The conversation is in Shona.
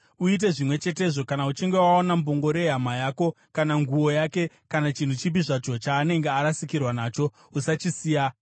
Uite zvimwe chetezvo kana uchinge waona mbongoro yehama yako kana nguo yake kana chinhu chipi zvacho chaanenge arasikirwa nacho. Usachisiya.